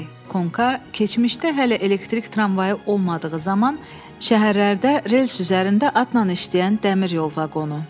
Konka keçmişdə hələ elektrik tramvayı olmadığı zaman şəhərlərdə rels üzərində atnan işləyən dəmir yol vaqonu.